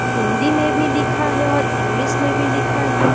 हिंदी में भी लिखा है और इंग्लिश में भी लिखा है।